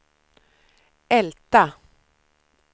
Älta